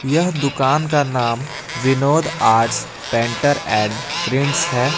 यह दुकान का नाम Vinod arts painter and prints है।